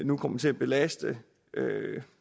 nu kommer til at belaste